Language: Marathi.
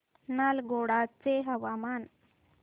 नालगोंडा चे हवामान